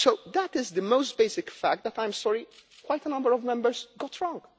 That is the most basic fact that, I am sorry, quite a number of Members got wrong.